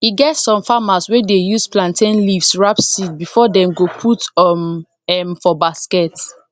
e get some farmers wey dey use plantain leaves wrap seed before dem go put um m for basket